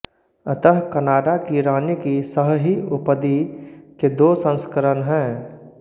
अतः कनाडा की रानी की सहहि उपदि के दो संस्करण हैं